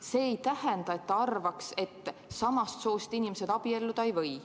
See ei tähenda, et ta arvaks, et samast soost inimesed abielluda ei võiks.